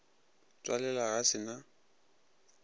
tswalela ge a se na